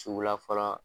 Suguya fɔlɔ